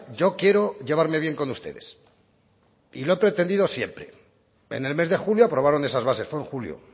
yo quiero llevarme bien con ustedes y lo he pretendido siempre en el mes de julio aprobaron esas bases fue en julio